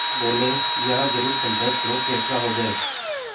वह बोलेहाँ जरूर पंचायत करो फैसला हो जाय